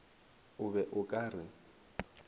o be o ka re